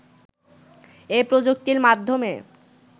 এ প্রযুক্তির মাধ্যমে